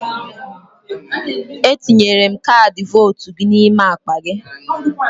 Etinyere m kaadị votu gị n'ime akpa gị.